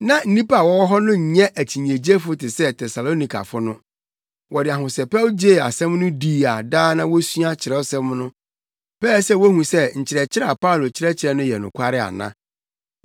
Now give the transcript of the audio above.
Na nnipa a wɔwɔ hɔ no nyɛ akyinnyegyefo te sɛ Tesalonikafo no. Wɔde ahosɛpɛw gyee asɛm no dii a daa na wosua Kyerɛwsɛm no pɛɛ sɛ wohu sɛ nkyerɛkyerɛ a Paulo kyerɛkyerɛ no yɛ nokware ana.